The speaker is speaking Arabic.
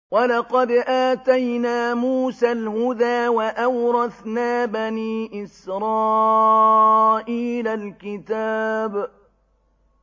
وَلَقَدْ آتَيْنَا مُوسَى الْهُدَىٰ وَأَوْرَثْنَا بَنِي إِسْرَائِيلَ الْكِتَابَ